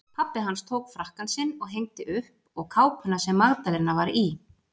Pabbi hans tók frakkann sinn og hengdi upp og kápuna sem Magdalena var í.